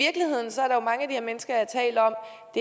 her mennesker at